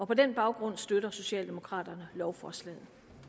på den baggrund støtter socialdemokraterne lovforslaget